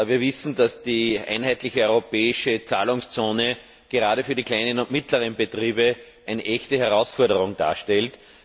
Wir wissen, dass die einheitliche europäische Zahlungszone gerade für die kleinen und mittleren Unternehmen eine echte Herausforderung darstellt.